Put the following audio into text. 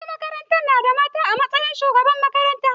Wasu makarantun su nada mata a matsayin shugabar makaranta.